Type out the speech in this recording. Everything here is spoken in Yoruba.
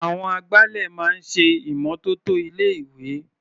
Àwọn agbálẹ̀ máa ń ṣe ìmọ́tótó ilé-ìwé.